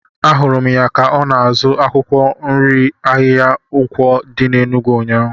Ahụrụ m ya ka ọ na-azụ akwụkwọ nri n'ahịa Nkwo dị n'Enugwu ụnyaahụ.